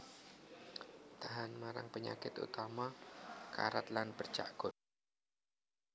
Tahan marang penyakit utama karat lan bercak godhong